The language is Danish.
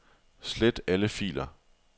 Slet alle filer.